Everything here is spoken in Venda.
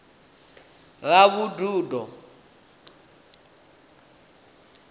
ravhududo